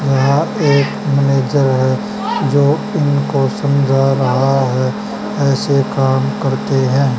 यह एक मैनेजर है जो इनको समझा रहा है ऐसे काम करते है।